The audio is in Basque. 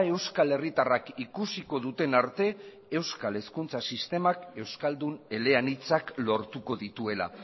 euskal herritarrak ikusiko duten arte euskal hezkuntza sistemak euskaldun eleanitzak lortuko dituela